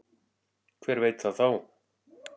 Hver veit það þá?